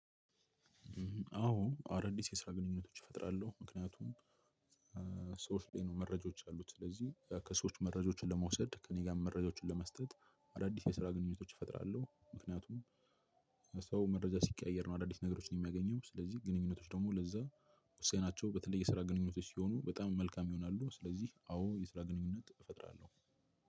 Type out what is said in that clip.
አዎ አዳዲስ የስራ ግንኙነቶች እፈጥራለሁ። ምክንያቱም ሰዎች ላይ ነው መረጃዎች ያሉት። ስለዚህ ከሰዎች መረጃዎችን ለመውሰድ ከእኔ ጋር መረጃዎችን ለመስጠት አዳዲስ የስራ ግንኙነቶች እፈጥራለሁ። ምክንያቱም ሰው መረጃ ሲቀያየር ነው አዳዲስ ነገሮችን የሚያገኘው። ስለዚህ ግንኙነቶች ደግሞ ለዛ ውሳኔ ናቸው በተለይ የስራ ግንኙነቶች ሲሆኑ በጣም መልካም ይሆናሉ። ስለዚህ አዎ የስራ ግንኙነት እፈጥራለሁ።